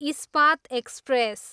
Ispat express